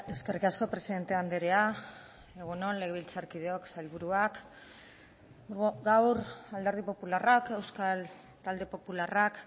eskerrik asko presidente andrea egun on legebiltzarkideok sailburuak gaur alderdi popularrak euskal talde popularrak